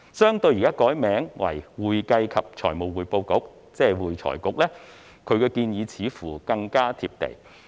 相對於現時改名為會財局，他的建議似乎更加貼地。